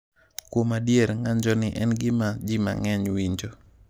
Kuom adier, ng’anjoni en gima ji mang’eny winjo.